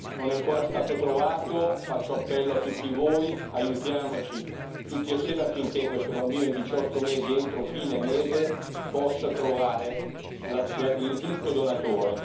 Non è ancora stato trovato, faccio appello a tutti voi aiutiamoci tutti assieme affinché questo bambino di 18 mesi, entro fine mese, possa trovare il giusto donatore.